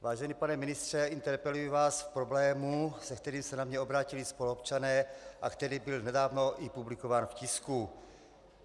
Vážený pane ministře, interpeluji vás v problému, se kterým se na mě obrátili spoluobčané a který byl nedávno i publikován v tisku.